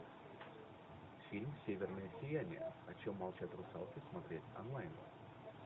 фильм северное сияние о чем молчат русалки смотреть онлайн